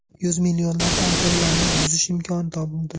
Yuz millionlab iPhone’larni buzish imkoni topildi.